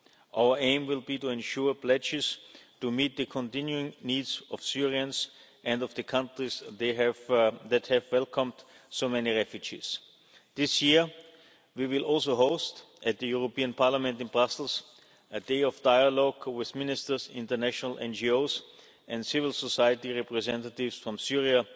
Our aim will be to ensure pledges to meet the continuing needs of Syrians and of the countries that have welcomed so many refugees. This year we will also host, at the European Parliament in Brussels, a day of dialogue with Ministers, international NGOs and civil society representatives from